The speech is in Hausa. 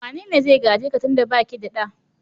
Wane ne zai gaje ka tun da ba ke da ɗa?